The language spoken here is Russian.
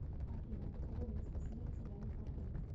афина у кого место смерти яны капу